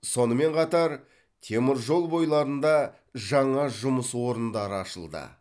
сонымен қатар темір жол бойларында жаңа жұмыс орындары ашылды